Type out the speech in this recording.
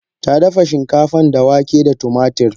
Tadafa shinkafan da wake da tumatir.